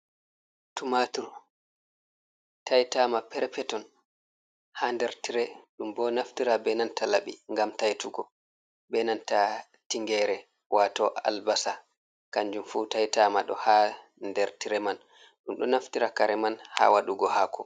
Tumatur tai'tama perpeton ha nder tire. Ɗum bo naftira be nanta laɓi ngam taitugo; be nanta tingere wato "albasa" kanjum fu tai'tama do ha nder tire man. Ɗum ɗo naftira kare man ha waɗugo haako.